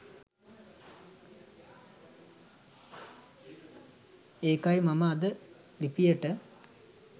ඒකයි මම අද ලිපියට